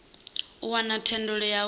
u wana thendelo ya u